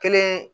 Kelen